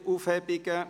(Keine Aufhebungen)